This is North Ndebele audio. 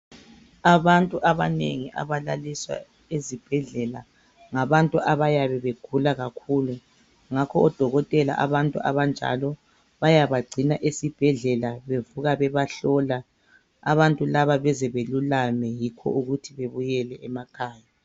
Abantu abanengi abalaliswa ezibhedlela ngabantu abayabe begula kakhulu ngakho odokotela abantu abanjalo bayabagcina esibhedlela bevuka bebahlola abantu laba bezebelulame, yikho ukuthi bebuyele emakhaya.